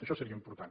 això seria important